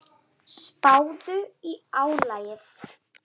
Spáðu í álagið.